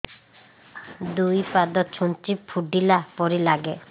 ଦୁଇ ପାଦ ଛୁଞ୍ଚି ଫୁଡିଲା ପରି ଲାଗେ